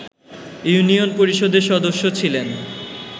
union পরিষদের সদস্য ছিলেন